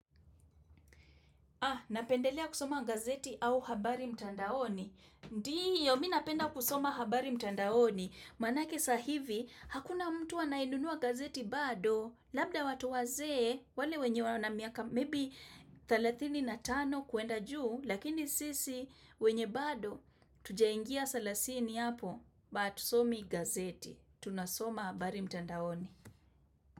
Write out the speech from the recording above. Napendelea kusoma gazeti au habari mtandaoni. Ndio, mii napenda kusoma habari mtandaoni. Manake saa hivi, hakuna mtu anayenunua gazeti bado, labda watu wazee, wale wenye wana miaka, maybe 35 kuenda juu, lakini sisi, wenye bado, hatujaingia salasini hapo, hatusomi gazeti. Tunasoma habari mtandaoni.